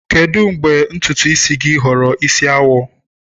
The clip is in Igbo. Kedu mgbe ntutu isi gị ghọrọ isi awọ?